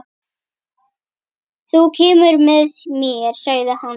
Þú kemur með mér, sagði hann.